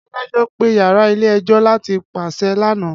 Adajọ pe yara ile-ẹjọ lati paṣẹ lana